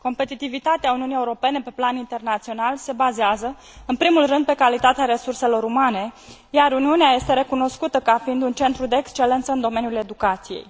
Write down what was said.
Competitivitatea Uniunii Europene pe plan internațional se bazează în primul rând pe calitatea resurselor umane, iar Uniunea este recunoscută ca fiind un centru de excelență în domeniul educației.